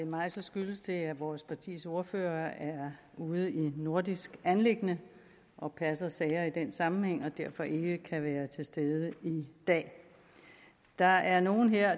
mig skyldes det at vores partis ordfører er ude i et nordisk anliggende og passer sager i den sammenhæng og derfor ikke kan være til stede i dag der er nogle her